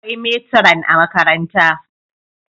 akwai meturan a makaranta